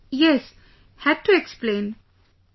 Yes...had to explain...